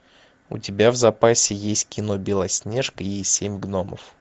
у тебя в запасе есть кино белоснежка и семь гномов